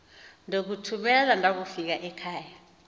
ndokuthumela ndakufika ekhava